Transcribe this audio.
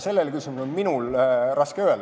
Sellele küsimusele minul on raske vastata.